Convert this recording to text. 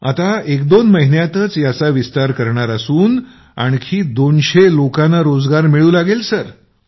आता एक दोन महिन्यातच याचा विस्तार करणार असून आणखी २०० लोकांना रोजगार मिळू लागेल सर